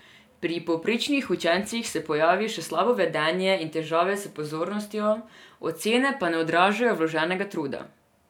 Pri povprečnih učencih se pojavi še slabo vedenje in težave s pozornostjo, ocene pa ne odražajo vloženega truda.